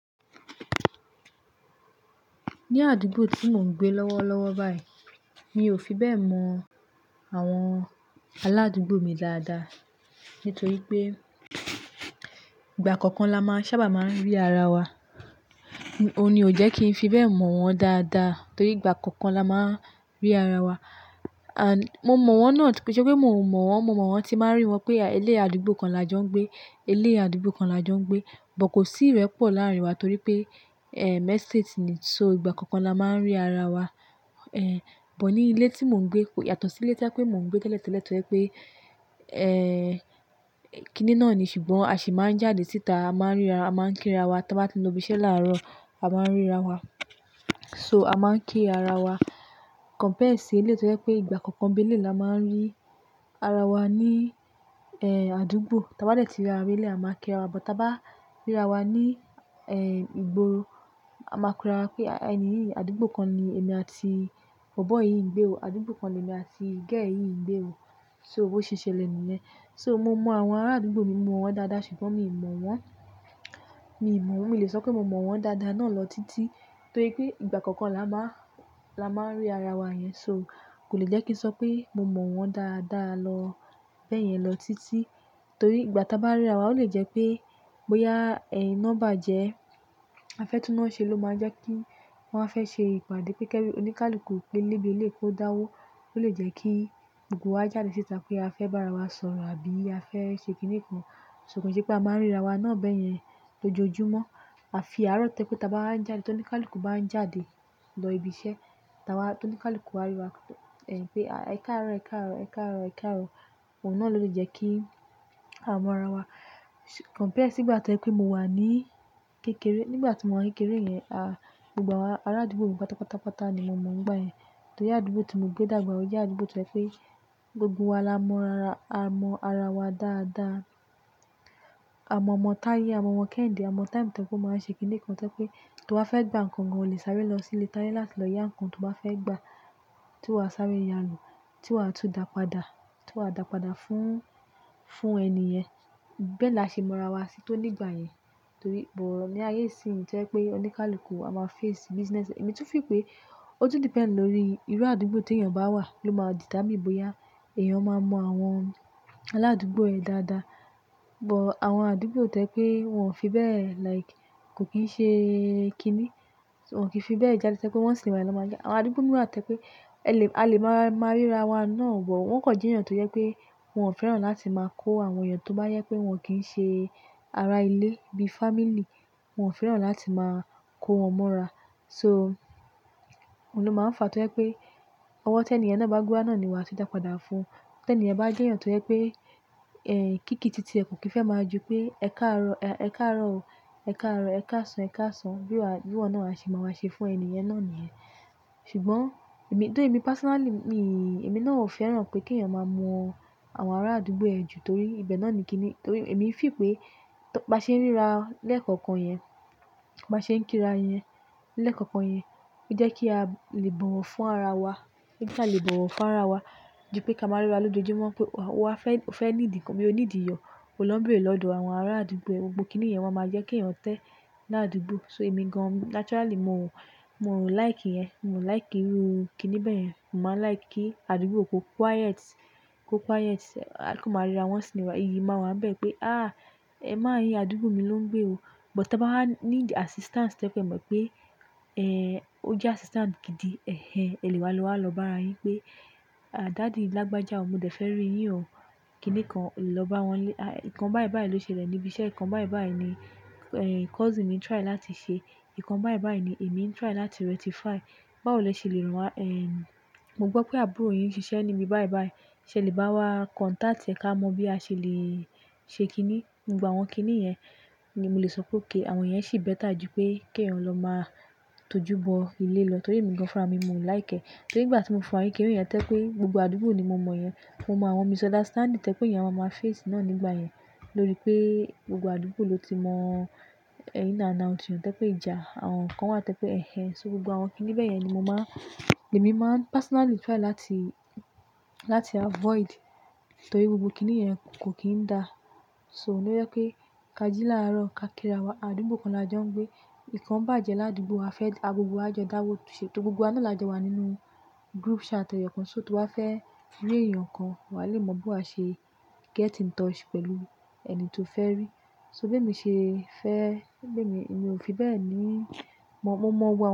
Ní àdúgbò tí mò ń gbé lọ́wọ́lọ́wọ́ báyìí, mi ò fi bẹ́ẹ̀ mọ àwọn aládúgbò mi dáadáa nítorí pé ìgbà kọ̀ọ̀kan la máa sábà máa ń rí ara wa. Ó ní ó jẹ́ kí n fi bẹ́ẹ̀ mọ̀ wọ́n dáadáa torí ìgbà kọ̀ọ̀kan la máa ń rí ara wa and. Mo mọ̀ wọ́n náà, kii ṣè pé mò mọ̀ wọ́n, mo mọ̀ wọ́n tí máa ń rí wọn pé eléyii àdúgbò kan la jọ ń gbé, eléyii àdúgbò kan la jọ ń gbé, bọ̀ kò sí ìrẹ́pọ̀ láàárín wa torí pé, ẹ́state ni, so ìgbà kọ̀ọ̀kan la máa ń rí ara wa. Ẹ̀, bọ̀ ní ilé tí mò ń gbé ko yàtọ̀ sí ilé to je pé mò ń gbé teletele pé, ẹ́ẹ́, kíni náà ni, ṣùgbọ́n a sì máa ń jáde síta, a máa ń ríra, a máa ń kí ara wa. Tí wọ́n bá ti lọ ibi iṣẹ́ láàárọ̀, a máa ń ríra wa. So a máa ń kí ara wa. Compare sí eleyii tó jẹ́ pé ìgbà kọ̀ọ̀kan bí eléyii la máa ń rí ara wa ní, ẹ́ẹ́, àdúgbò. Tí a bá dẹ̀ tíra wá beleyii, a máa kí ara wa, bọ̀ ta bá ríra wa ní, ẹ́ẹ́, igboró, a máa kóra pé ẹni yìí, àdúgbò kan ni èmi àti bobọyìí ń gbé o, àdúgbò kan ni èmi àti girl yìí ń gbé o. So bo ṣe ṣẹlẹ̀ nìyẹn. So mo mọ àwọn ará àdúgbò mi, mo mọ wọ́n dáadáa ṣùgbọ́n mi mọ̀ wọ́n. Mi mọ̀ wọ́n, mi ò lè sọ pé mo mọ̀ wọ́n dáadáa náà lọ títí torí pé ìgbà kọ̀ọ̀kan la máa, la máa ń rí ara wa yẹn. So kò lè jẹ́ kí n sọ pé mo mọ̀ wọ́n dáadáa lọ bẹ́ẹ̀ yẹn lọ títí torí ìgbà tí a bá ríra wa ó lè jẹ́ pé bóyá, ẹ́ẹ́, ina bajẹ́, afẹ́ túná ṣe ló máa jẹ́ kí wọ́n fẹ́ ṣe ìpàdé pé kii oníkálukú nibi eleyii kó dáwó. Ó lè jẹ́ kí gbogbo wa jáde síta pé a fẹ́ bá ara wa sọ̀rọ̀ àbí a fẹ́ ṣe kíni kan. So kò jẹ́ pé a máa ń ríra wa náà bẹ́ẹ̀ yẹn lójoojúmọ́. A fi àárọ̀ tẹ́ pe ta bá wa n jáde, tí oníkálukú bá ń jáde lọ ibi iṣẹ́, tí a wá, tí oníkálukú wá rí wa, ẹ̀ ẹ káàárọ̀, ẹ káàárọ̀, ẹ káàárọ̀, ẹ káàárọ̀. Òun náà ló ti jẹ́ kí a mọ ara wa. Compare sí ìgbà tó ẹ pé mo wà ní kékeré, nígbà tí mo wà ní kékeré yen, a, gbogbo awon ará àdúgbò mi pátápátá ni mo mọ̀ ńgbà yẹn. Torí àdúgbò tí mo ń gbé dàgbà ò jẹ́ àdúgbò tó jẹ́ pé gbogbo wa la mọ ara, a mọ ara wa dáadáa. A mọ ọmọ táyé, a mọ ọmọ kéhinde, a mọ time to e pe máa ń ṣe kíni kan to e pé tí wàá fẹ́ gbà nǹkan gan o lè sáré lọ sílé táyé láti lọ yá nǹkan tí wàá fẹ́ gbà, tí wàá sáré yá a lò, tí wàá tún dàpadà, tí wàá dàpadà fún, fún ẹni yẹn. Bẹ́ẹ̀ la ṣe mọ ara wa sí tó nígbà yẹn torí, bọ̀ ní ayé yìí sì ń to e pé oníkálukú a máa face business e. Èmi tún feel pé ó tún depend lórí irú àdúgbò tí èèyàn bá wà ló máa determine bóyá èèyàn máa mọ àwọn aládúgbò yẹn dáadáa. Bọ̀ àwọn àdúgbò tó ẹ́ pé wọ́n ò fi bẹ́ẹ̀ like kò kín ṣe kíni. Wọn kì í fi bẹ́ẹ̀ jáde tẹ́ pé wọ́n sì lọ máa já. Àwọn àdúgbò mìíràn tẹ́ pé ẹ lè, a lè máa, máa ríra wa náà wọ̀. Wọn kò jẹ́ èèyàn tó yẹ́ pé wọ́n ò fẹ́ràn láti máa kó àwọn èèyàn tó bá yẹ pé wọ́n kì í ṣe ará ilé bí family, wọ́n ò fẹ́ràn láti máa kó wọn mọ́ra. So òun ló máa ń fa tó yẹ́ pé ọwọ́ ti ẹniyen bá gbewa náà ni wàá ti dàpadà fún. Tẹ́ ẹni bá jẹ́ èèyàn tó ye pé, ẹ́ẹ́, kíki títí ẹ kò kí fẹ́ máa ju pé ẹ káàárọ̀, ẹ káàárọ̀ o, ẹ káàárọ̀, ẹ káàsán, ẹ káàsán. Bí wàá, bí wọ́n náà ṣe máa wá ṣe fún ẹni yẹn náà ni yen. Ṣùgbọ́n èmi, tó èmi personally mi, èmi náà ò fẹ́ràn pé kí èèyàn máa mọ àwọn ará àdúgbò ẹ ju torí ibẹ̀ náà ni kíni, torí èmi fì pé tó bá ṣe ń ríra lẹ́ẹ̀kọ̀kan yẹn, bá ṣe ń kíra yẹn lẹ́ẹ̀kọ̀kan yẹn, ó jẹ́ kí a lè bọ̀ wọ́n fún ara wa. Kii a lè bọ̀wọ́ fún ara wa ju pé ká máa ríra lójoojúmọ́ pé wà á fẹ́, o fẹ́ need nnkàn mi ò ní ìdíyọ̀. Oló ń bere lọ́dọ̀ àwọn ará àdúgbò ẹ, gbogbo kíni yẹn wọ́n máa jẹ́ kí èèyàn tẹ́ ní àdúgbò. So èmi gan-an naturally mo, mo ò like ìyẹn, mo ò like irú kíni bẹ́ẹ̀ yẹn. Mo máa like kí àdúgbò kó quiet, kó quiet. À kan máa ríra once in a while, iyì máa wá n bẹ́ẹ̀ pé, "Àá, ẹ mán yíi, àdúgbò mi ló ń gbé o." Bọ̀ te bá ní assistance tó ẹ́ pé mo mọ pé, ẹ́ẹ́, ó jẹ́ assistance gidi, ẹhẹ ẹlẹ́wa ló wá lọ bá wa yín pé, "À, daddy lágbájá o, mo dẹ fẹ́ rí yín o." Kíni kan lọ bá wọn lé, "À nnkan báyìí báyìí ló ṣẹlẹ̀ níbi iṣẹ́, nnkan báyìí báyìí ni, ẹ́ẹ́, cousin mi try láti ṣe. Nnkan báyìí báyìí ni èmi ń try láti rectify. Báwo lẹ ṣe lè ràn wá? Ẹ̀, mo gbọ́ pé àbúrò yín ń ṣiṣẹ́ níbi báyìí báyìí, ṣé lè bá wa contact ẹ ká mọ bí a ṣe lè ṣe kíni?" Ìgbà àwọn kíni yẹn ni mo lè sọ pé òkay àwọn yẹn sì better ju pé kí èèyàn lọ máa tojú bọ ilé lọ torí èmi gan-an fún àwọn mi mo ò like ẹ́. Torí nìgbà tí mo fi n kekere yẹn tẹ́ pé gbogbo àdúgbò ni mo mọ̀ yẹn. Mo mọ àwọn misunderstanding tẹ́ pé eeyan máa maa face náà nígbà yẹn lórí pé gbogbo àdúgbò ló ti mọ ẹ in and out eeyan, tẹ́ pé ìjà. Àwọn kan wà tẹ́ pé ẹhẹ. So gbogbo àwọn kíni bẹ́ẹ̀ yẹn ni mo máa, ni èmi máa personally try láti, láti avoid torí gbogbo kíni yẹn kò kín ń da. So ó n lo yẹ́ pé ká jí láàárọ̀ ká kíra wa. Àdúgbò kan la jọ ń gbé. Nnkan bàjẹ́ làdúgbò a fẹ́, a gbogbo wa jọ dáwọ́ tu se gbogbo wa náà la jọ wà nínú group chat ẹ̀yọ̀kan. So to wà á fẹ́ rí èèyàn kan, wà á lè mọ̀ bi wa ṣe get in touch pẹ̀lú ẹni tó fẹ́ rí. So bí èmi ṣe fẹ́, bí èmi, èmi ò fi bẹ́ẹ̀ ní mọ̀ mọ́mọ́ wọ́n.